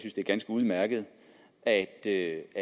det er ganske udmærket og at det